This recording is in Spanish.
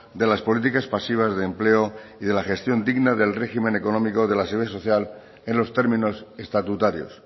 de las políticas pasivas de empleo y de la gestión digna del régimen económico de la seguridad social en los términos estatutarios